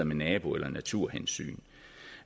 med nabo eller naturhensyn